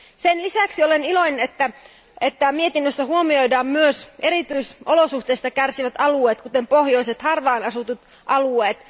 Sen lisäksi olen iloinen, että mietinnössä huomioidaan myös erityisolosuhteista kärsivät alueet, kuten pohjoiset harvaan asutut alueet.